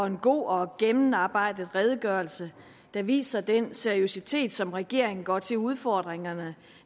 en god og gennemarbejdet redegørelse der viser den seriøsitet som regeringen går til udfordringerne